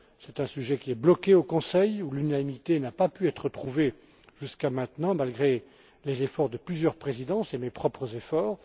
C'est un sujet qui est bloqué au Conseil, où l'unanimité n'a pas pu être trouvée jusqu'à maintenant, malgré les efforts de plusieurs présidences et mes propres efforts.